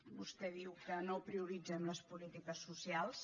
vostè diu que no prioritzem les polítiques socials